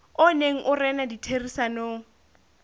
o neng o rena ditherisanong